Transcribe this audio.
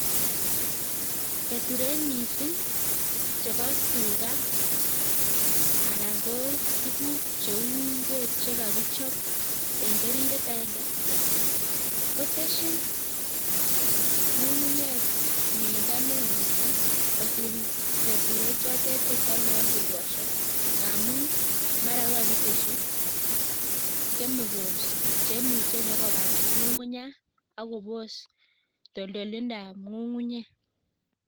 Keturek missing' chebo tuga anan ko tuguk cheu ingwek chegakichop en keringet agenge, kotesin ng'ung'unyek mieindo neo missing kosir keturek chote che kyale eng' dukoshek, ngamun mara ko kakagiteshi chemicals cheimuche nyokobar ng'ung'unyat agobos toltolindoab ng'ung'unyek.